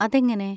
അതെങ്ങനെ?